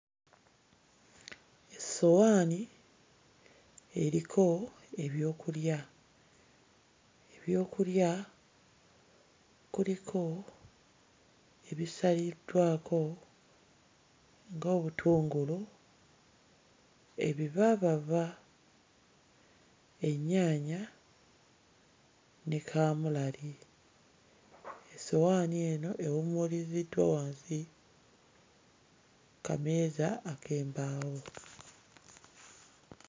Essowaani eriko ebyokulya. Ebyokulya kuliko ebisaliddwako ng'obutungulu, ebivaavava, ennyaanya ne kaamulali. Essowaani eno ewummuliziddwa wansi ku kameeza ak'embaawo.